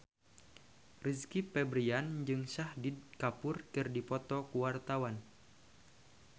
Rizky Febian jeung Shahid Kapoor keur dipoto ku wartawan